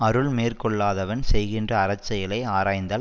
அருள் மேற்கொள்ளாதவன் செய்கின்ற அறச்செயலை ஆராய்ந்தால்